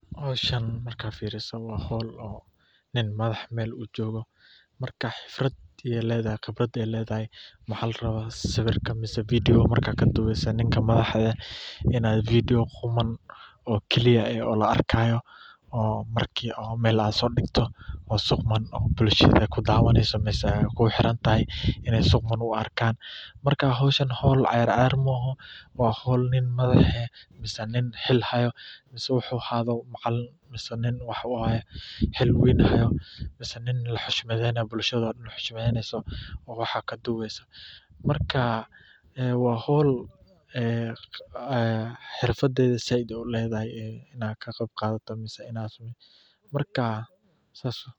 Howshan marka fiiriso waa howl nin madax ee Mel uu jogo marka qibrad ayay ledahay waxaa larabaa sawirka mise fidio marka kaduubeyso ninka madexe inad fidio quman oo clear eh oo la arkayo oo marki Mel ad soo dhigto oo si quman oo bulshada kudaawaneyso misee ay kuxirantahay ina si quman u arkaan marka howshan howl ciyaar ciyaar ma oho waa howl nin madexe ama howl nin xil haayo mise wuxuu ahaado macalin mise nin waxa waye xil weyn hayo mise nin laxushmadeenayo, bulshado dhan xushmadeyso oo wax kaduubeyso markaa waa howl xirfadeyda zaaid ay uledehay inad ka qeb qaadato mise inad marka sas waye